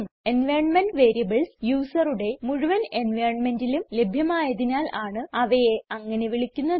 environment variables യൂസറുടെ മുഴുവൻ environmentലും ലഭ്യമായതിനാൽ ആണ് അവയെ അങ്ങനെ വിളിക്കുന്നത്